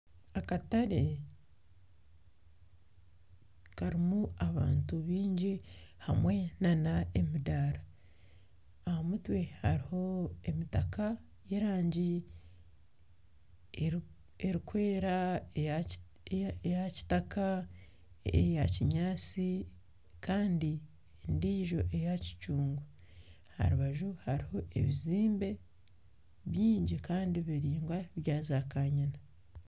Akatare karimu abantu baingi hamwe n'emidaara aha mutwe hariho emitaka y'erangi erikwera, eya kitaka, eya kinyaatsi kandi endijo eya kicungwa aha rubaju hariho ebizimbe bingi kandi biraingwa byakanyina.